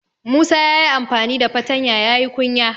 Musa ya yi amfani da fatanya ya yi kunya.